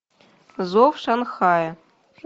зов шанхая